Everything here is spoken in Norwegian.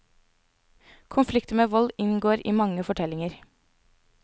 Konflikter med vold inngår i mange fortellinger.